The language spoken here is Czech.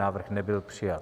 Návrh nebyl přijat.